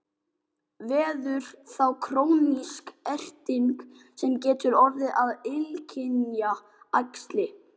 Verður þá krónísk erting sem getur orðið að illkynja æxli.